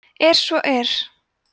er svo er